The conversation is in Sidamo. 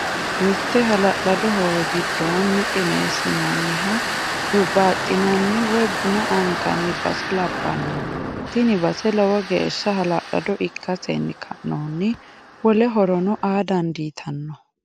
Mite halalado hoowe gidoonni qinessinonninna hurbaxinanni woyi buna anganni basse labanno tini basse lowo geesha halalado ikkasenni ka'nohuni wole horono aa danditanno